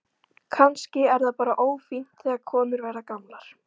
Kannski er það bara ófínt þegar konur verða gamlar.